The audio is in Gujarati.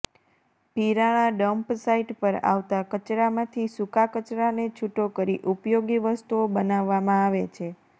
પીરાણા ડંપ સાઇટ પર આવતા કચરામાંથી સૂકા કચરાને છુટો કરી ઉપયોગી વસ્તુઓ બનાવામા આવે છે